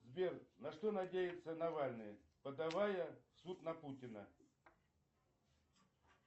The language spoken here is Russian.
сбер на что надеется навальный подавая в суд на путина